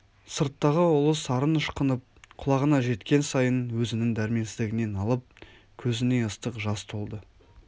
сырттағы ұлы сарын ышқынып құлағына жеткен сайын өзінің дәрменсіздігіне налып көзіне ыстық жас толды